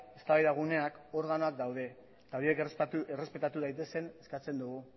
eztabaida guneak eta organoak daude eta horiek errespetatu daitezen eskatzen dugu